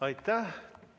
Aitäh!